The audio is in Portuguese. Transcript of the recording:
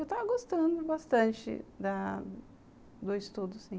Eu estava gostando bastante da do estudo, sim.